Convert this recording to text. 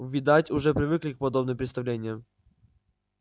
видать уже привыкли к подобным представлениям